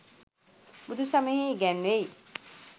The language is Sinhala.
බුදු සමයෙහි ඉගැන්වෙයි.